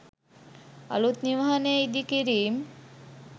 අලූත් නිවහනේ ඉදිකිරීම්